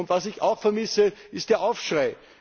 Was ich auch vermisse, ist ein Aufschrei.